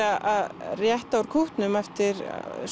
að rétta úr kútnum eftir